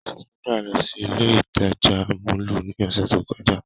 Sandra lọ si ile itaja mọllu ni ọsẹ to kọja.